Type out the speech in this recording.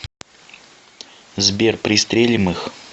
сбер пристрелим их